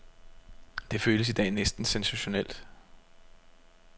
Det føles i dag næsten sensationelt.